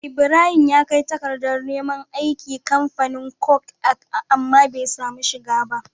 Ibrahim ya kai takadar neman aiki kamfanin coke amma be samu shiga ba